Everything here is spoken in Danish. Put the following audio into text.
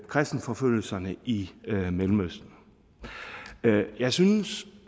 kristenforfølgelserne i mellemøsten jeg synes